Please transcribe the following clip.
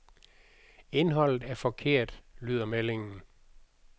Indholdet er forkert, lyder meldingen.